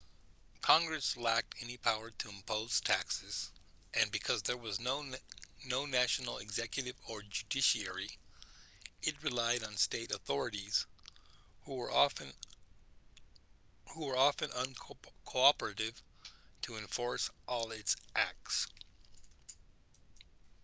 congress lacked any power to impose taxes and because there was no national executive or judiciary it relied on state authorities who were often uncooperative to enforce all its acts